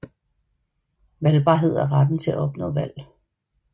Valgbarhed er retten til at opnå valg